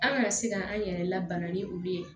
An kana se ka an yɛrɛ labana ni olu ye